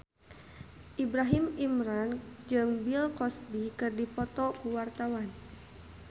Ibrahim Imran jeung Bill Cosby keur dipoto ku wartawan